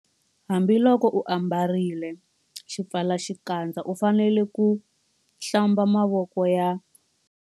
Hambiloko u ambarile xipfalaxikandza u fanele ku- Hlamba mavoko ya.